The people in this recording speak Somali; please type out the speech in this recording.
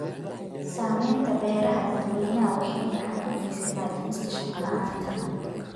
Samaynta beeraha dadweynaha waxay gacan ka geysataa dhimista shaqo la'aanta.